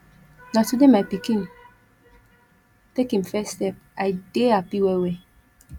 na today my pikin take im first step i dey hapi wellwell